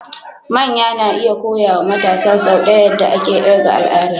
Manya na iya koya wa matasa sau ɗaya yadda ake ƙirga al'ada.